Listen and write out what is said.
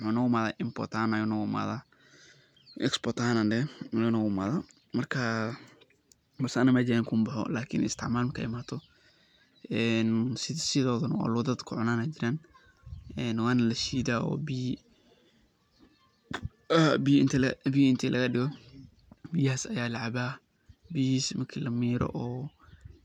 muxuu noogu imaadan export ahaan, marka anaga meesheyna kuma boxo lakin isticmaal ahaan markaay imaado sidooda dad kucunaan ayaa jiraan waana lashiida oo biyaha inti lagadigo ayaa lacabaa,